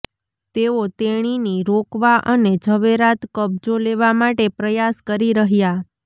તેઓ તેણીની રોકવા અને ઝવેરાત કબજો લેવા માટે પ્રયાસ કરી રહ્યા